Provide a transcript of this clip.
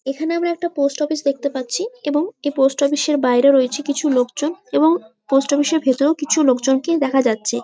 এইখানে আমরা একটা পোস্ট অফিস দেখতে পাচ্ছি এবং এই পোস্ট অফিস -এর বাইরে রয়েছে কিছু লোকজন এবং পোস্ট অফিস -এর ভিতরে কিছু লোকজনকে দেখা যাচ্ছে ।